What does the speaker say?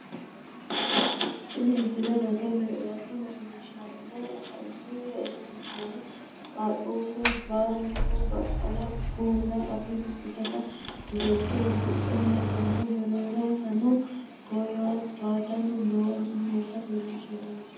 tini misle roso leellishshannu konni rosi giddono qaaqquullu baalunku baqqala kuula afidhinota tisheerte uddidhe nootanna mereeronsano toyaatanni noohu noota leellishshanno misileeti